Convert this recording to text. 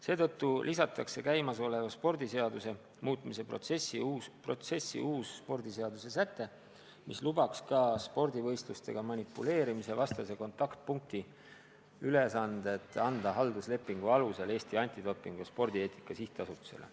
Seetõttu lisatakse spordiseaduse muutmise protsessis eelnõusse uus säte, mis lubaks ka spordivõistlustega manipuleerimise vastase kontaktpunkti ülesanded anda halduslepingu alusel Eesti Antidopingu ja Spordieetika Sihtasutusele.